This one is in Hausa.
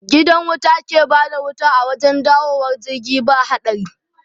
Gidan wuta ke bada wuta a wajen dawowar jirgi ba haɗari